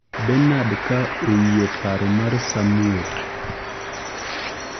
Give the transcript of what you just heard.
Benard ka oyie paro mar Samwel